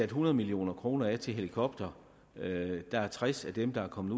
hundrede million kroner til helikoptere og at der kun er tres af dem der er kommet